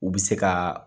U bɛ se ka